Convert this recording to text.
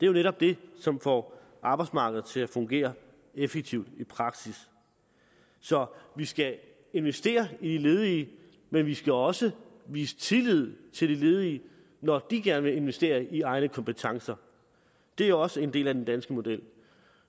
jo netop det som får arbejdsmarkedet til at fungere effektivt i praksis så vi skal investere i de ledige men vi skal også vise tillid til de ledige når de gerne vil investere i egne kompetencer det er også en del af den danske model